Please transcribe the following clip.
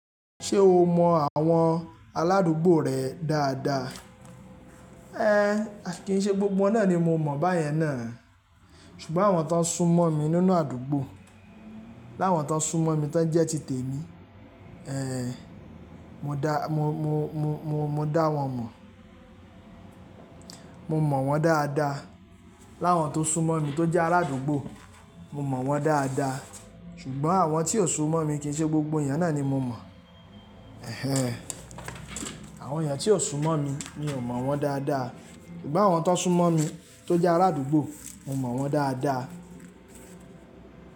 Ṣé o mọ àwọn aládùúgbò rẹ dáadáa? Ẹ kin ṣe gbogbo náà ni mo mọ̀ báyẹn náà, ṣùgbọ́n àwọn tó n sún mọ́ mi nínú àdúgbò, láwọn tó n sún mọ́ mi tó ń jẹ́ tìtè mi, eeh, mo dá, mo, mo, mo, mo, mo dá wọn mọ̀. Mo mọ̀ wọ́n dáadáa. Láwọn tó sún mọ́ mi tó jẹ́ arádúgbò, mo mọ̀ wọ́n dáadáa. Ṣùgbọ́n àwọn tí kò sún mọ́ mi kín ṣe gbogbo èèyàn náà ni mo mọ̀. Ehe! Àwọn èèyàn tí ò sún mọ́ mi, mi ò mọ̀ wọ́n dáadáa. Ṣùgbọ́n àwọn tó n sún mọ́ mi tó jẹ́ arádúgbò, mo mọ̀ wọ́n dáadáa.